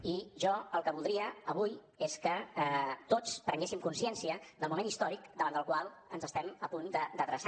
i jo el que voldria avui és que tots prenguéssim consciència del moment històric cap al qual ens estem a punt d’adreçar